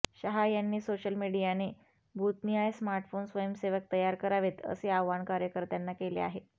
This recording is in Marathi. शहा यांनी सोशल मीडियाने बुथनिहाय स्मार्टफोन स्वयंसेवक तयार करावेत असे आवाहन कार्यकर्त्यांना केले आहे